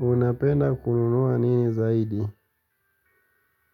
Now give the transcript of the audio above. Unapenda kununua nini zaidi?